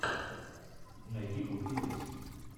найди крутые песни